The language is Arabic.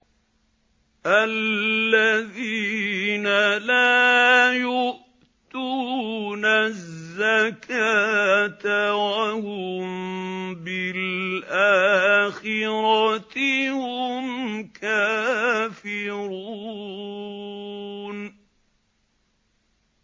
الَّذِينَ لَا يُؤْتُونَ الزَّكَاةَ وَهُم بِالْآخِرَةِ هُمْ كَافِرُونَ